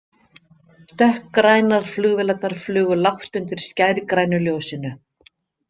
Dökkgrænar flugvélarnar flugu lágt undir skærgrænu ljósinu.